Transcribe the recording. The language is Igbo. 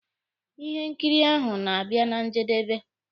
Ihe nkiri ahụ na-abịa na njedebe.